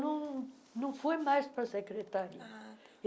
Não, não fui mais para a Secretaria. ah